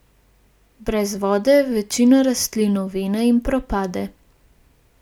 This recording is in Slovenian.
Brez vode večina rastlin ovene in propade.